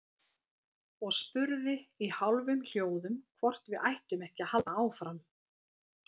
Og spurði í hálfum hljóðum hvort við ættum ekki að halda áfram.